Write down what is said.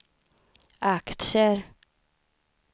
aktier